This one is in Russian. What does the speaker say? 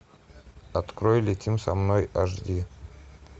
открой летим со мной аш ди